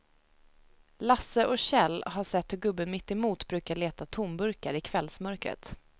Lasse och Kjell har sett hur gubben mittemot brukar leta tomburkar i kvällsmörkret.